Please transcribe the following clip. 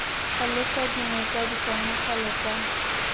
tlhalosa dingwe tsa diponagalo tsa